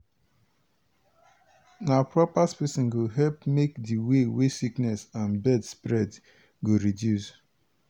na proper spacing go help make di way wey sickness and bird spread go reduce.